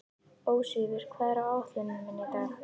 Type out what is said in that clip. Ósvífur, hvað er á áætluninni minni í dag?